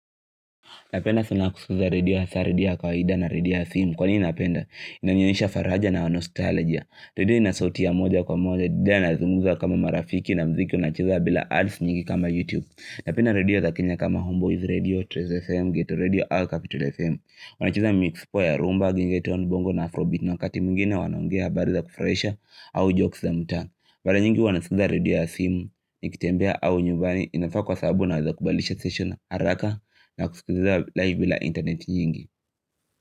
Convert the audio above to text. Napenda sana kusikiza radio hasa redio ya kawaida na radio ya simu. Kwa nini napenda? Inanionesha faraja na wa nostalgia. Radio ina sauti moja kwa moja. Didia nazimuza kama marafiki na mziki unachiza bila ads nyingi kama YouTube. Napenda radio za kenya kama Homeboys Radio, Trace FM, Ghetto Radio au Capital FM. Wanacheza miziki ya rumba, gengeton, bongo na afrobeat na wakati mwingine wanaongea habari za kufurahisha au jokes za mtaa mara nyingi huwa naskiza radio ya simu, nikitembea au nyumbani inafaa kwa sababu naweza kubadilisha station haraka na kusikiza live bila internet nyingi.